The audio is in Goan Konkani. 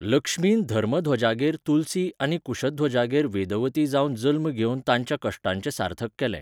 लक्ष्मीन धर्मध्वजागेर तुलसी आनी कुशध्वजागेर वेदवती जावन जल्म घेवन तांच्या कश्टांचें सार्थक केलें.